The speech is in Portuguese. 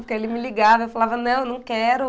Porque ele me ligava e eu falava não, não quero.